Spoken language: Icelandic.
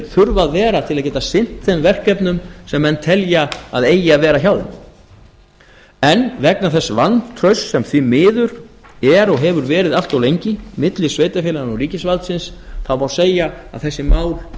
þurfa að vera til að geta sinnt þeim verkefnum sem menn telja að eigi að vera hjá þeim en vegna þess vantrausts sem því miður er og hefur verið allt of lengi milli sveitarfélaganna og ríkisvaldsins má segja að þessi mál